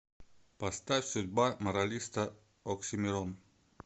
поставь судьба моралиста оксимирон